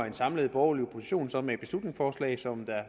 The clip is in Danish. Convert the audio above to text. en samlet borgerlig opposition så med et beslutningsforslag som der